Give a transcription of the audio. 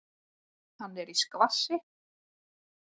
Hann er í skvassi.